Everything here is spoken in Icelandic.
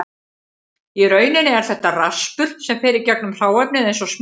Í rauninni er þetta raspur sem fer í gegnum hráefnið eins og smjör.